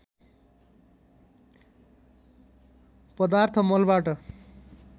पदार्थ मलबाट